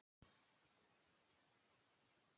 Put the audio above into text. Maísól, spilaðu lag.